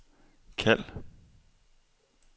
kald